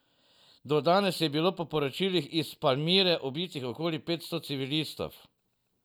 Do danes je bilo po poročilih iz Palmire ubitih okoli petsto civilistov.